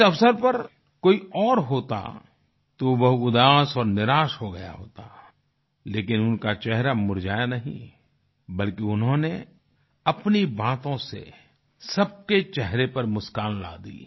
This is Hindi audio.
इस अवसर पर कोई और होता तो वह उदास और निराश हो गया होता लेकिन उनका चेहरा मुरझाया नहीं बल्कि उन्होंने अपनी बातों से सब के चेहरों पर मुस्कान ला दी